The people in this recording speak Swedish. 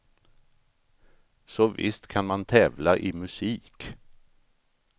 Så visst kan man tävla i musik.